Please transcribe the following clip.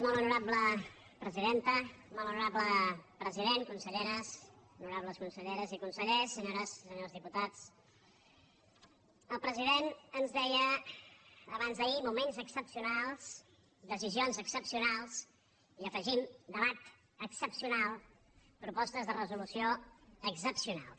molt honorable president honorables conselleres i consellers senyores i senyors diputats el president ens deia abans d’ahir moments excepcionals decisions excepcionals i hi afegim debat excepcional propostes de resolució excepcionals